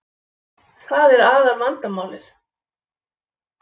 Það er aðal vandamálið